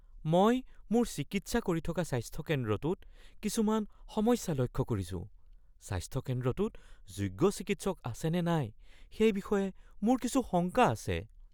মই মোৰ চিকিৎসা কৰি থকা স্বাস্থ্য কেন্দ্ৰটোত কিছুমান সমস্যা লক্ষ্য কৰিছো। স্বাস্থ্য কেন্দ্ৰটোত যোগ্য চিকিৎসক আছেনে নাই সেই বিষয়ে মোৰ কিছু শংকা আছে।